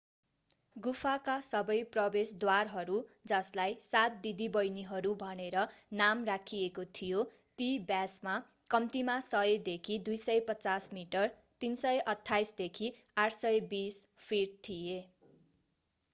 गुफाका सबै प्रवेशद्वारहरू जसलाई सात दिदीबहिनीहरू” भनेर नाम राखिएको थियो ती व्यासमा कम्तीमा 100 देखि 250 मिटर 328 देखि 820 फिट थिए।